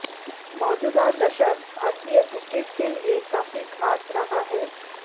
मौजूदा दशक भारतीय क्रिकेट के लिए काफी खास रहा है